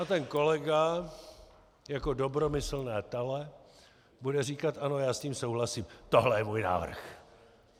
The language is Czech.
A ten kolega jako dobromyslné tele bude říkat: ano, já s tím souhlasím, tohle je můj návrh.